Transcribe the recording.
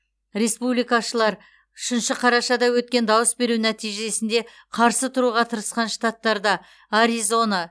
республикашылар үшінші қарашада өткен дауыс беру нәтижесіне қарсы тұруға тырысқан штаттарда аризона